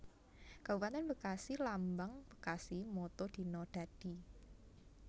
Kabupatèn BekasiLambang BekasiMotto Dina Dadi